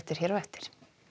hér á eftir